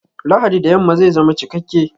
Lahadi da yamma zai zama cikakke!